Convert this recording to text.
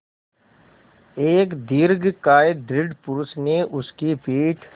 एक दीर्घकाय दृढ़ पुरूष ने उसकी पीठ